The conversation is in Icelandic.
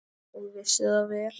Og vissi það vel.